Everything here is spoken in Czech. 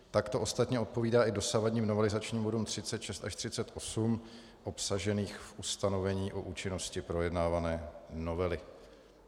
Tak to ostatně odpovídá i dosavadním novelizačním bodům 36 až 38 obsaženým v ustanovení o účinnosti projednávané novely.